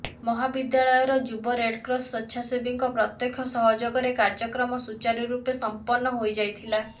ମହାବିଦ୍ୟାଳୟର ଯୁବ ରେଡକ୍ରସ ସ୍ବେଛାସେବୀଙ୍କ ପ୍ରତ୍ୟକ୍ଷ ସହଯୋଗରେ କାର୍ଯ୍ୟକ୍ରମ ସୁଚାରୁରୂପେ ସମ୍ପନ୍ନ ହୋଇଯାଇଥିଲା